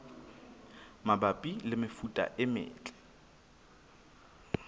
mabapi le mefuta e metle